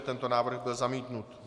Tento návrh byl zamítnut.